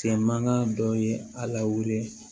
Kile mangan dɔ ye a lawuli